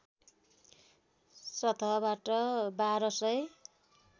सतहबाट १२ सय